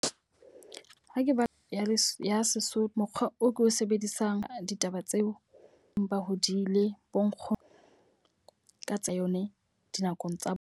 Ha ke ba ya ya Sesotho. Mokgwa o ko o sebedisang ditaba tseo, empa hodile bo nkgono ka tsa yone dinakong tsa bona.